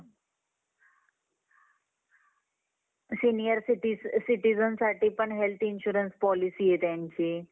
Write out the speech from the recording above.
hye mam